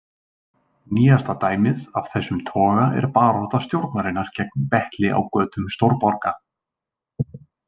Nýjasta dæmið af þessum toga er barátta stjórnarinnar gegn betli á götum stórborga.